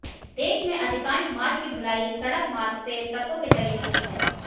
देश में अधिकांश माल की ढुलाई सड़क मार्ग से ट्रकों के जरिये होती है